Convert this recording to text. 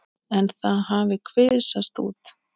En það hafi kvisast út.